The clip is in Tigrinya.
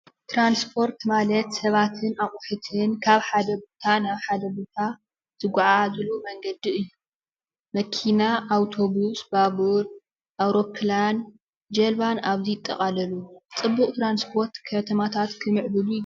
ትራንስፖርት ማለት ሰባትን ኣቕሑትን ካብ ሓደ ቦታ ናብ ሓደ ቦታ ዝጎዓዓዝሉ መንገዲ እዩ። መኪና ፣ ኣብቶቡስ፣ ባቡር፣ ኣውሮፕላን፣ ጀልባን ኣብዚ ይጠቃለሉ ።ፅቡቅ ትራንስፖርት ከተማታት ክምዕብሉ ።